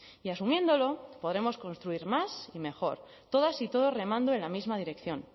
y asumiéndolo podremos construir más y mejor todas y todos remando en la misma dirección